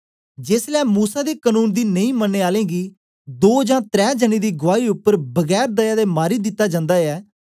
जेसलै मूसा दे कनून दी नेई मनने आले गी दों जां त्रै जनें दी गुआई उपर बगैर दया दे मारी दिता जन्दा ऐ